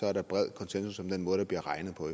er der bred konsensus om den måde der bliver regnet på